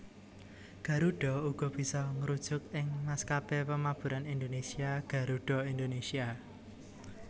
Garuda uga bisa ngrujuk ing maskapé pamaburan Indonésia Garuda Indonésia